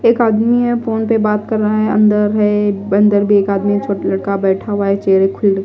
एक आदमी है फोन पे बात कर रहा है अंदर है अंदर भी एक आदमी छोटा लड़का बैठा हुआ है चेहरे ख--